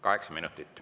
Kaheksa minutit.